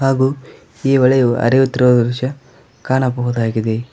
ಹಾಗು ಈ ಹೊಳೆಯು ಅರಿಯುತ್ತಿರುವ ದೃಶ್ಯ ಕಾಣಬಹುದಾಗಿದೆ.